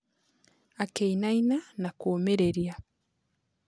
Akĩinaina na kũũmĩrĩria.